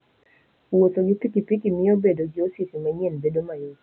Wuotho gi pikipiki miyo bedo gi osiepe manyien bedo mayot.